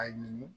A ɲini